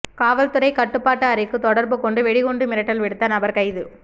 காவல்துறை கட்டுப்பாட்டு அறைக்கு தொடர்பு கொண்டு வெடிகுண்டு மிரட்டல் விடுத்த நபர் கைது